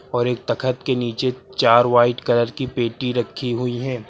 और एक तखत के नीचे चार व्हाइट कलर की पेटी रखी हुई है।